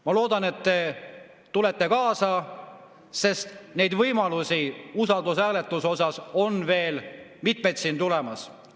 Ma loodan, et te tulete kaasa, sest neid võimalusi usaldushääletuse osas on veel mitmeid tulemas.